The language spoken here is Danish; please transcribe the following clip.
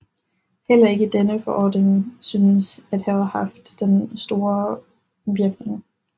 Heller ikke denne forordning synes at have haft den store voirkning